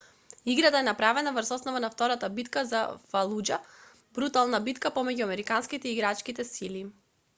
играта е направена врз основа на втората битка за фалуџа брутална битка помеѓу американските и ирачките сили